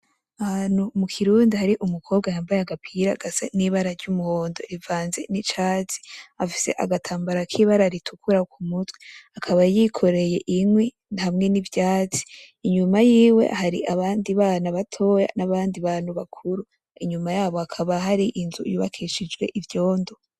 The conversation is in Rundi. Ahantu mu kirundi hari umukobwa yambaye agapira gafise ibara ry’umuhondo rivanze n’icatsi, afise agatambara k’ibara ritukura ku mutwe akaba yikoreye inkwi hamwe n’ivyatsi, inyuma yiwe hari abandi bana batoya n’abandi bantu bakuru inyuma yabo hakaba hari inzu yubakishijwe ivyondo.